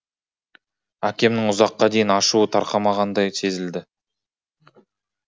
әкемнің ұзаққа дейін ашуы тарқамағандай сезілді